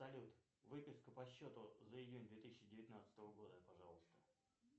салют выписка по счету за июнь две тысячи девятнадцатого года пожалуйста